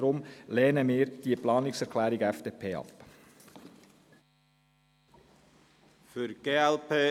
Deswegen lehnen wir die Planungserklärung FDP ab.